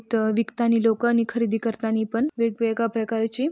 तह विकतांनी लोकं आणि खरेदी करतानी पण वेग-वेगळ्या प्रकारची--